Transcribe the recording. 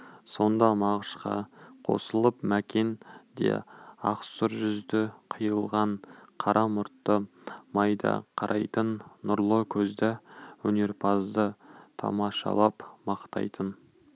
сонда мағышқа қосылып мәкен де ақсұр жүзді қиылған қара мұртты майда қарайтын нұрлы көзді өнерпазды тамашалап мақтайтын